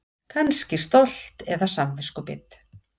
Kannski stolt eða samviskubit.